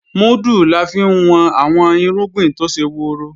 Múdù la fi ń wọn àwọn irúgbìn tó ṣe woro